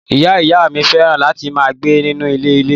Ìyá ìyá mí féràn láti ma gbe nínú ilé ilè